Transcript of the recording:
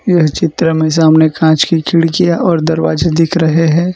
यह चित्र में सामने कांच की खिड़कियां और दरवाजे दिख रहे है।